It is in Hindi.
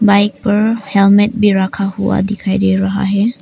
बाइक पर हेलमेट भी रखा हुआ दिखाई दे रहा है।